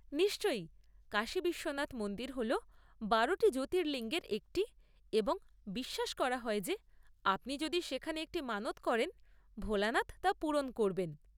নিশ্চয়, কাশী বিশ্বনাথ মন্দির হল বারোটি জ্যোতির্লিঙ্গের একটি, এবং বিশ্বাস করা হয় যে আপনি যদি সেখানে একটি মানত করেন, ভোলেনাথ তা পূরণ করবেন!